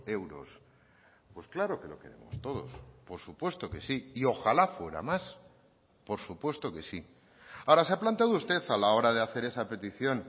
euros pues claro que lo queremos todos por supuesto que sí y ojalá fuera más por supuesto que sí ahora se ha planteado usted a la hora de hacer esa petición